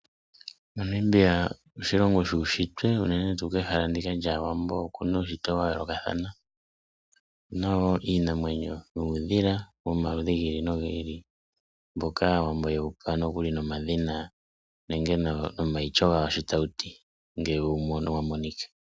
Namibia oshilongo shuushitwe unene tuu kehala ndika lyaawambo oku na uushitwe wa yoolokathana. Oku na iinamwenyo nuudhila womaludhi gi ili nogi ili mboka aawambo yewu pa nokuli nomadhina nomaityo gawo sho tawu ti ngele wa monika.